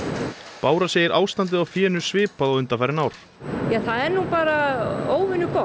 bára segir ástandið á fénu svipað og undanfarin ár það er nú bara óvenju gott